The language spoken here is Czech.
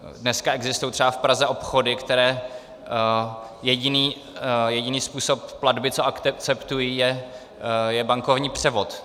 Dneska existují třeba v Praze obchody, které jediný způsob platby, co akceptují, je bankovní převod.